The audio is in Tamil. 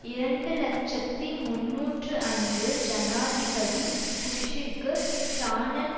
இரண்டு இலட்சத்தி முன்னூற்று ஐந்து ஜனாதிபதி புஷ்ஷிற்கு ஷானன்